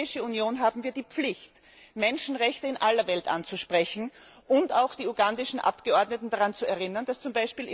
Als Europäische Union haben wir die Pflicht, Menschenrechte in aller Welt anzusprechen und auch die ugandischen Abgeordneten daran zu erinnern, dass z.